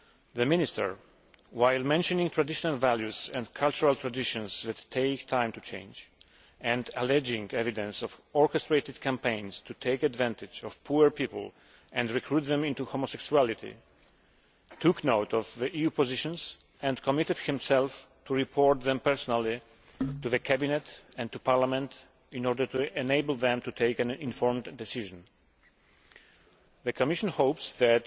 The Minister, while mentioning traditional values and cultural traditions that take time to change and alleging evidence of orchestrated campaigns to take advantage of poor people and recruit them into homosexuality, took note of the EU positions and committed himself to reporting them personally to the Cabinet and to Parliament in order to enable them to take an informed decision. The Commission hopes that,